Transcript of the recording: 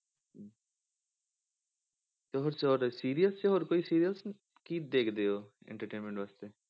ਹੋਰ serials ਹੋਰ serials ਕੀ ਦੇਖਦੇ ਹੋ entertainment ਵਾਸਤੇ।